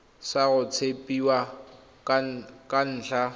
sa go tshepiwa ka ntlha